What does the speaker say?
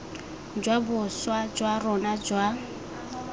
jwa boswa jwa rona jwa